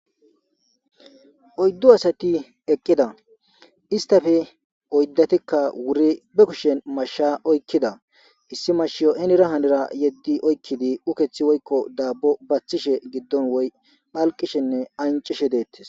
oyddu asati eqqida istafe oyddatikka wuri be kushen mashsha oykkida issi mashiyo enira hanira yeddi oykkidi ukethi woykko daabbo baththishe giddon woy phalqishenne ancishe deettes